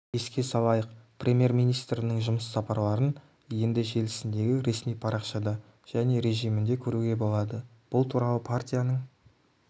еске салайық премьер-министрінің жұмыс сапарларын енді желісіндегі ресми парақшада және режімінде көруге болады бұл туралы партияның